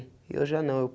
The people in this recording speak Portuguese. E eu já não. Eu